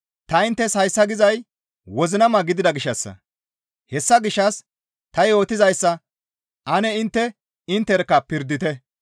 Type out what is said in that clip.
Ta inttes hayssa gizay wozinama gidida gishshassa; hessa gishshas ta yootizayssa ane intte intterkka pirdite.